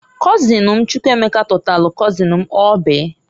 Kọzịn m Chukwuemeka tọtalụ kọzịn m Oby.